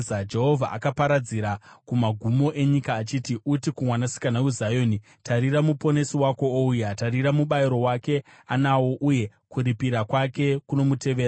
Jehovha akaparidzira kumagumo enyika achiti, “Uti kuMwanasikana weZioni, ‘Tarira, Muponesi wako ouya! Tarira, mubayiro wake anawo, uye kuripira kwake kunomutevera.’ ”